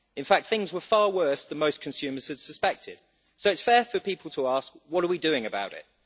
In fact things were far worse than most consumers had suspected, so it is fair for people to ask what are we doing about it?